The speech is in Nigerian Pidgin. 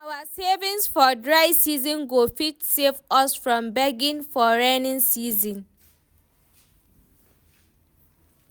Our savings for dry season go fit save us from begging for raining season.